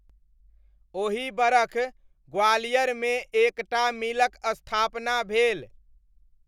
ओही बरख ग्वालियरमे एक टा मिलक स्थापना भेल।